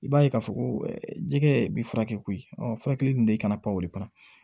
I b'a ye k'a fɔ ko jɛgɛ bɛ furakɛ koyi furakɛli dun tɛ i kana pan o kɔnɔ